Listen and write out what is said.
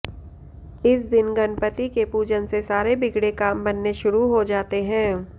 इस दिन गणपति के पूजन से सारे बिगड़े काम बनने शुरू हो जाते हैं